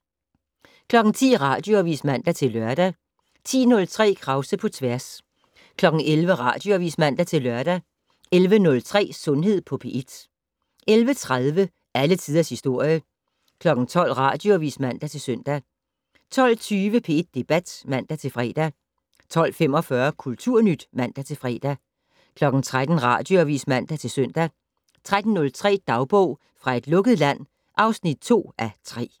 10:00: Radioavis (man-lør) 10:03: Krause på tværs 11:00: Radioavis (man-lør) 11:03: Sundhed på P1 11:30: Alle tiders historie 12:00: Radioavis (man-søn) 12:20: P1 Debat (man-fre) 12:45: Kulturnyt (man-fre) 13:00: Radioavis (man-søn) 13:03: Dagbog fra et lukket land (2:3)